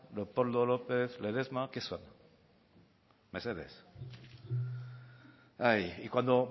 leopoldo lópez ledesma qué son mesedez y cuando